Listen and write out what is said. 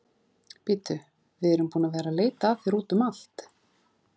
Bíddu, við erum búin að vera að leita að þér úti um allt.